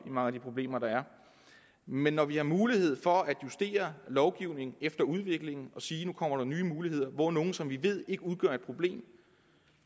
i mange af de problemer men når vi har mulighed for at justere lovgivningen efter udviklingen og sige at nu kommer der nye muligheder hvor nogle som vi ved ikke udgør et problem